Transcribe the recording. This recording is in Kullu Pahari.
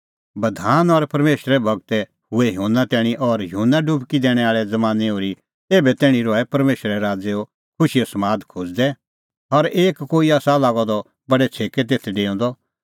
बधान और परमेशरे गूर हुऐ युहन्ना तैणीं और युहन्ना डुबकी दैणैं आल़े ज़मानैं ओर्ही एभै तैणीं रहै परमेशरे राज़ो खुशीए समादा खोज़दै और हर कोई आसा लागअ द बडै छ़ेकै तेथ डेऊंदअ